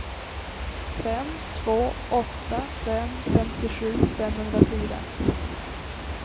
fem två åtta fem femtiosju femhundrafyra